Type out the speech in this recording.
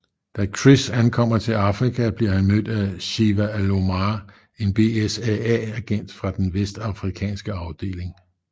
Da Chris ankommer til Afrika bliver han mødt af Sheva Alomar en BSAA agent fra den Vest afrikanske afdeling